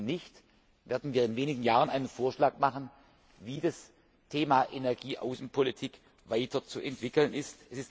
Wenn nicht, werden wir in wenigen Jahren einen Vorschlag machen, wie das Thema Energieaußenpolitik weiter zu entwickeln ist.